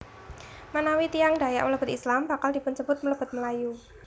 Menawi tiyang Dayak mlebet Islam bakal dipunsebut mlebet Melayu